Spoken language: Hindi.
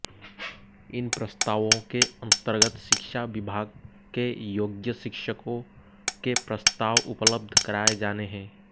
इन प्रस्तावो के अन्तर्गत शिक्षा विभाग के योग्य शिक्षको के प्रस्ताव उपलब्ध कराए जाने है